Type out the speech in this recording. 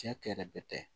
Cɛ kɛlɛ bɛ tɛ